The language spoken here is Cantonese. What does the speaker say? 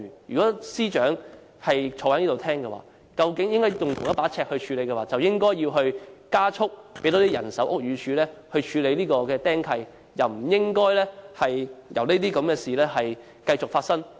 如果政府當局採用同一把尺，便應加快增加屋宇署的人手，以處理"釘契"問題，不應任由這些事情繼續發生。